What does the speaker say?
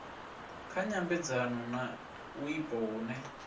kha nyambedzano na wipo hune